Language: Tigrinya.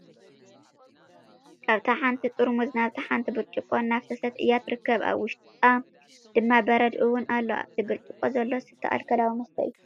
ካብታ ሓንቲ ጥርሙዝ ናብታ ሓንቲ ብርጭቆ እናፍሰሰት እያ ትርከብ ኣብ ውሽጣ ድማ በረድ እውን ኣሎ። ኣብቲ ብርጭቆ ዘሎ ዝስተ ኣልኮለዊ መስተ እዩ።